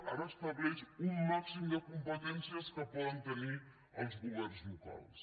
ara estableix un màxim de competències que poden tenir els governs locals